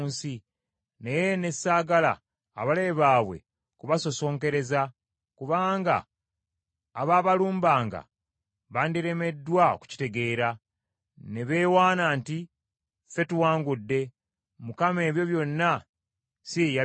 Naye ne saagala abalabe baabwe kubasosonkereza, kubanga abaabalumbagana bandiremeddwa okukitegeera, ne beewaana nti, “Ffe tuwangudde, Mukama ebyo byonna si ye yabikoze.”